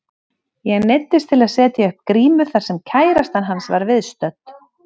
Ég neyddist til að setja upp grímu þar sem kærastan hans var viðstödd.